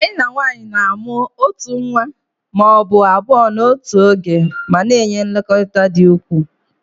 Hyenan nwanyị na-amụ otu nwa ma ọ bụ abụọ n'otu oge ma na-enye nlekọta dị ukwuu